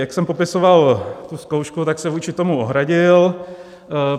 Jak jsem popisoval tu zkoušku, tak se vůči tomu ohradil.